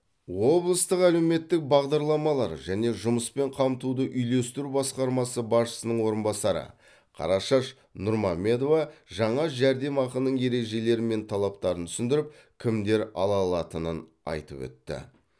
облыстық әлеуметтік бағдарламалар және жұмыспен қамтуды үйлестіру басқармасы басшысының орынбасары қарашаш нұрмамедова жаңа жәрдемақының ережелері мен талаптарын түсіндіріп кімдер ала алатынын айтып өтті